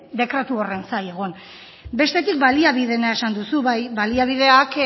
dekretu horren zain egon bestetik baliabideena esan duzu bai baliabideak